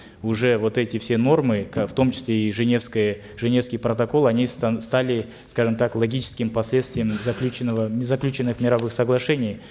уже вот эти все нормы в том числе и женевская женевский протокол они стали скажем так логическим последствием заключенного заключенных мировых соглашений